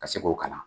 Ka se k'o kalan